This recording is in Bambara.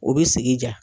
U bɛ sigi diya